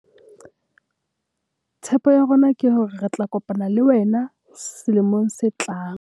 Tshepo ya rona ke hore re tla kopana le WENA selemong se tlang!